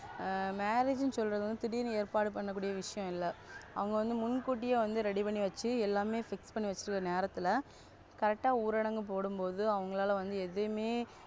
ஆ Marriage சொல்றது வந்து திடீருனு ஏற்பாடு பண்ணக்கூடிய விஷயம் இல்ல அவங்க வந்து முன்குடியே வந்து Ready பண்ணி வெச்சுட்டு நேரத்துல Correct உரடங்கு போடும்போது அவங்களால வந்து எதுமே,